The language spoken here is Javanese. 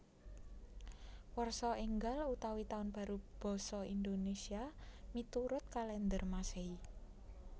Warsa Ènggal utawi Tahun Baru basa Indonésia miturut kalèndher Masèhi